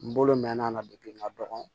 N bolo mɛn'a la n ka dɔgɔn